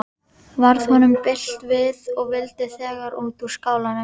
Varð honum bilt við og vildi þegar út úr skálanum.